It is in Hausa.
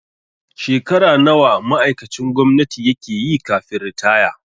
Shekara nawa ma'aikacin gwamnati yake yi kafin ritaya?